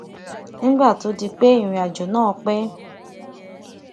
nígbà tó di pé ìrìnàjò náà pé